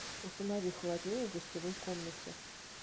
установи холоднее в гостевой комнате